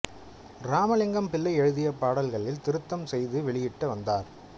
இராமலிங்கம் பிள்ளை எழுதிய பாடல்களில் திருத்தம் செய்து வெளியிட்டு வந்தார்